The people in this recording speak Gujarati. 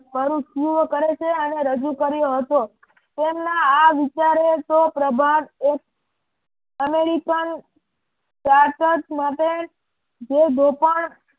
પરુચિઓ કરે છે અને રજૂ કર્યો હતો. તેમના આ વિચારો તો પ્રભાએ અમેરિકન સાર્થક માટે જે શોષણ